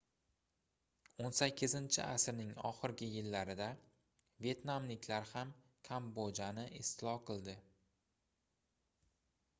18-asrning oxirgi yillarida vetnamliklar ham kambodjani istilo qildi